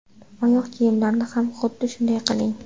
Oyoq kiyimlarni ham xuddi shunday qiling.